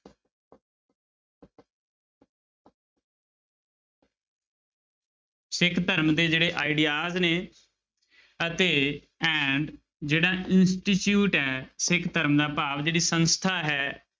ਸਿੱਖ ਧਰਮ ਦੇ ਜਿਹੜੇ ideas ਨੇ ਅਤੇ and ਜਿਹੜਾ institute ਹੈ ਸਿੱਖ ਧਰਮ ਦਾ ਭਾਵ ਜਿਹੜੀ ਸੰਸਥਾ ਹੈ,